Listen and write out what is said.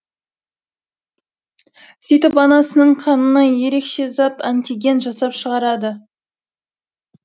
сөйтіп анасының қанына ерекше зат антиген жасап шығарады